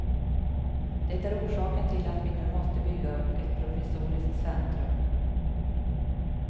Det är orsaken till att vi nu måste bygga upp ett provisoriskt centrum.